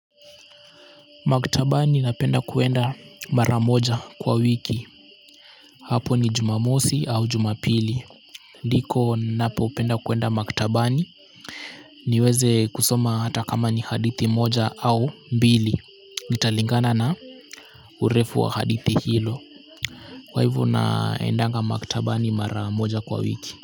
Maktabani napenda kuenda mara moja kwa wiki. Hapo ni Jumamosi au Jumapili. Ndiko napo penda kuenda maktabani. Niweze kusoma hata kama ni hadithi moja au mbili. Italingana na urefu wa hadithi hilo. Kwa hivo naendanga maktabani mara moja kwa wiki.